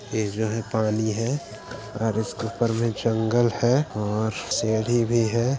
ये जो है पानी है और इसके ऊपर में जंगल है और सीढ़ी भी है।